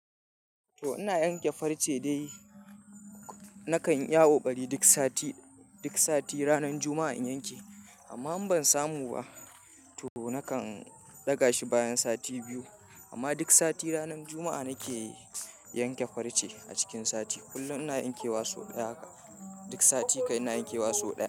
To ina yanke farce dai. Nakan iya kokari duk sati, duk sati ranar Juma'a in yanke. Amma in ban samu ba to nakan daga shi bayan sati biyu. Amma duk sati ranar Juma'a nake yanke farce a cikin sati. Kullum ina yankewa sau ɗaya. Duk sati kai ina yankewa sau ɗaya.